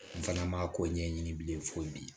N fana ma ko ɲɛɲini bilen fo bi